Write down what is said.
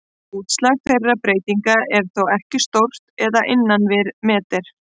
Útslag þeirra breytinga er þó ekki stórt eða innan við metri.